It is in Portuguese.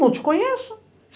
Não te conheço.